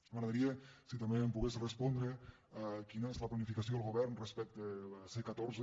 m’agradaria si també em pogués respondre a quina és la planificació del govern respecte a la c catorze